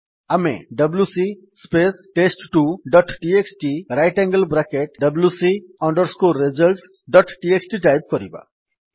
ଆମେ WC space test two dot TXT right angle bracket wc results dot TXT type କରିବା